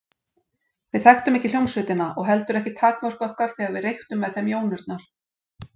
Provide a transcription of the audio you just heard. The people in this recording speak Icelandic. Við þekktum ekki hljómsveitina og heldur ekki takmörk okkar þegar við reyktum með þeim jónurnar.